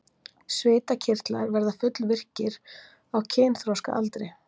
Svitakirtlar verða fullvirkir á kynþroskaaldri.